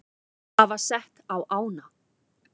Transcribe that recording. hafa sett á ána.